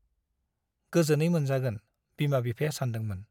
गोजोनै मोनजागोन , बिमा बिफाया सानदोंमोन ।